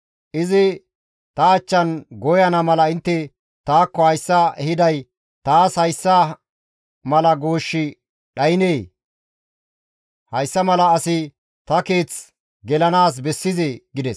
Izi ta achchan gooyana mala intte taakko hayssa ehiday taas hayssa mala gooshshi dhaynee? Hayssa mala asi ta keeth gelanaas bessizee?» gides.